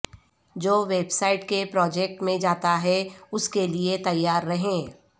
جو website کے project میں جاتا ہے اس کے لئے تیار رہیں